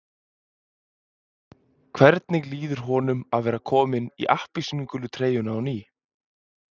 Hvernig líður honum að vera kominn í appelsínugulu treyjuna á ný?